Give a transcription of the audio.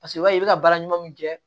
Paseke i b'a ye i bɛ baara ɲuman min kɛ